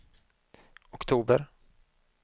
oktober